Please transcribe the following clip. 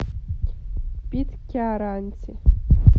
питкяранте